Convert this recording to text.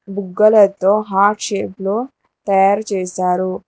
బుగ్గలతో heart shape లో తయారు చేశారు.